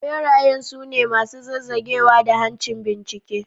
Berayen su ne masu zazzagewa da hancin bincike.